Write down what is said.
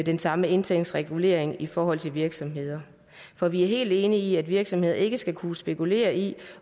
den samme indtægtsregulering ind i forhold til virksomheder for vi er helt enige i at virksomheder ikke skal kunne spekulere i